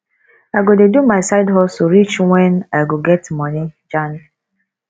i go dey do my side hustle reach wen i go get money jand